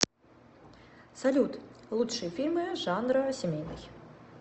салют лучшие фильмы жанра семейный